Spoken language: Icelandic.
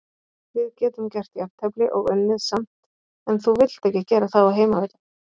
Við getum gert jafntefli og unnið samt en þú vilt ekki gera það á heimavelli.